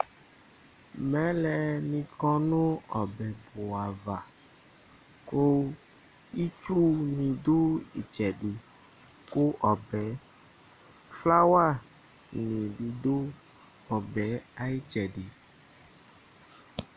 Mɛlɛ nɩ ƙɔ nʋ ɔbɛpʋ ava; ƙʋ itsu nɩ ɖʋ ɔbɛ aƴʋ ɩtsɛ ɖɩƑlawa nɩ ɖʋ ɔbɛ aƴ'ɩtsɛɖɩ